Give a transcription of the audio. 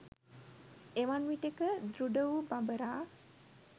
එවන් විටෙක දෘඩ වූ බඹරා